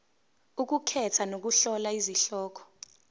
ukukhetha nokuhlola izihloko